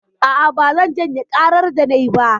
A'a, bazan janye ƙarar da nayi ba.